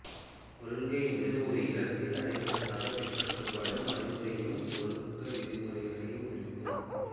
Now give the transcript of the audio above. கொள்கை என்பது ஒரு இலக்கை அடைவதற்குப் பின்பற்றப்படும் வழிமுறையையும் ஒழுக்க விதிகளையும் குறிக்கும்